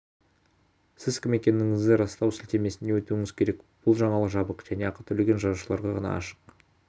сіз кім екендігіңізді растау сілтемесіне өтуіңіз керек бұл жаңалық жабық және ақы төлеген жазылушыларға ғана ашық